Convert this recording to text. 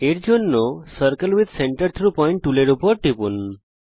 এটা করার জন্যে circle with centre through point টুলের উপর টিপুন